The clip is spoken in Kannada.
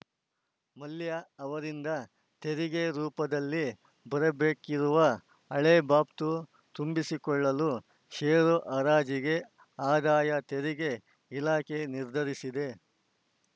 ಮಲ್ಯ ಅವರಿಂದ ತೆರಿಗೆ ರೂಪದಲ್ಲಿ ಬರಬೇಕಿರುವ ಹಳೆ ಬಾಬ್ತು ತಂಬಿಸಿಕೊಳ್ಳಲು ಷೇರು ಹರಾಜಿಗೆ ಆದಾಯ ತೆರಿಗೆ ಇಲಾಖೆ ನಿರ್ಧರಿಸಿದೆ